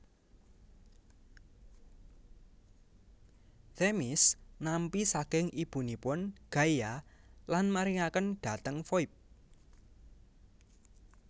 Themis nampi saking ibunipun Gaia lan maringaken dhateng Foibe